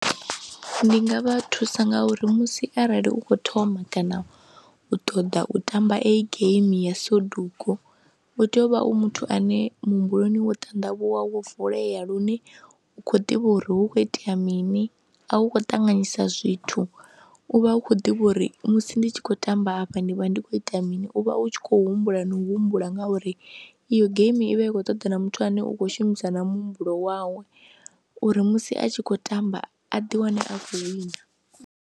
Ndi nga vha thusa nga uri musi arali u khou thoma kana u ṱoḓa u tamba i geimi ya Soduku u tea u vha u muthu ane muhumbuloni wo ṱandavhuwa, wo vulea lune u khou ḓivha uri hu khou itea mini a u khou ṱanganyisa zwithu, u vha u khou ḓivha uri musi ndi tshi khou tamba afha ndi vha ndi khou ita mini, u vha u tshi khou humbula na u humbula ngauri iyo geimi i vha i khou ṱoḓa na muthu ane u khou shumisa na muhumbulo wawe uri musi a tshi khou tamba a ḓiwane a khou wina.